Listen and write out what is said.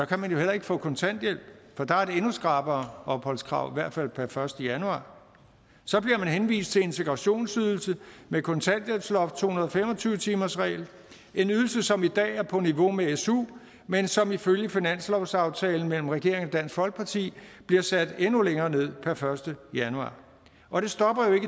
kan man jo heller ikke få kontanthjælp for der er et endnu skrappere opholdskrav i hvert fald per første januar så bliver man henvist til integrationsydelse kontanthjælpsloft to hundrede og fem og tyve timersregel en ydelse som i dag er på niveau med su men som ifølge finanslovsaftalen mellem regeringen og dansk folkeparti bliver sat endnu længere ned per første januar og det stopper jo